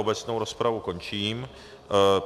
Obecnou rozpravu končím.